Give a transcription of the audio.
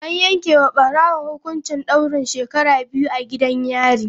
An yanke wa barawon hukuncin daurin shekaru biyu a gidan yari.